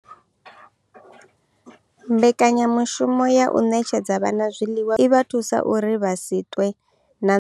Mbekanyamushumo ya u ṋetshedza vhana zwiḽiwa zwikoloni i vha thusa uri vha si ṱwe na nḓala.